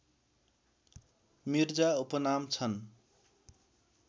मिर्जा उपनाम छन्